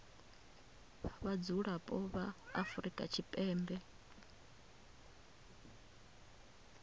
vha vhadzulapo vha afrika tshipembe